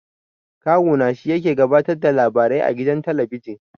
Kawu na shi yake gabatar da labarai a gidan talabijin.